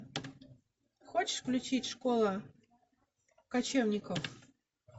хочешь включить школа кочевников